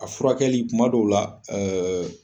A furakɛli kuma dɔw la ɛ ɛ